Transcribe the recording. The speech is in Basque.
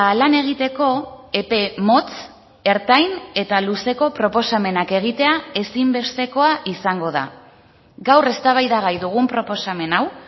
lan egiteko epe motz ertain eta luzeko proposamenak egitea ezinbestekoa izango da gaur eztabaidagai dugun proposamen hau